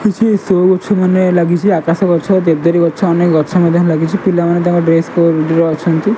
କିଛି ସୋ ଗଛମାନେ ଲାଗିଚି ଆକାଶଗଛ କେଦିରିଗଛ ଅନେକ୍ ଗଛ ମଧ୍ୟ ଲାଗିଚି ପିଲାମାନେ ତାଙ୍କ ଡ୍ରେସ୍ କୋଡ୍ ରେ ଅଛନ୍ତି।